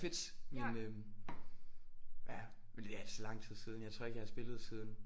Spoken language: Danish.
Fedt men øh ja men det er altså lang tid siden jeg tror ikke jeg har spillet siden